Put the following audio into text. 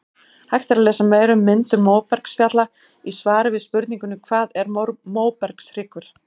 Hægt er að lesa meira um myndun móbergsfjalla í svari við spurningunni Hvað er móbergshryggur?